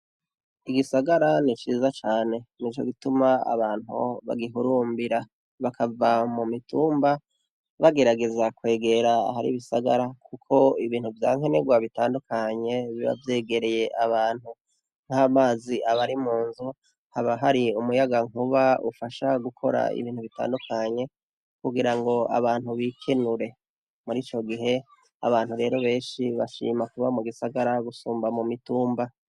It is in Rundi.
Igisagara niciza cane nicogituma abantu bagihurimbira bakava mumitumba bagerageza kwegera ahari ibisagara kuko ibintu vyankenerwa bitandukanye biba vyegereye abantu nkamazi abari munzu habahari umuyagankuba ufasha gukora ibintu bitandukanye kugirango abantu bikenure muri icogihe abantu rero benshi bashima kuba mugisagara gusumba mumitumba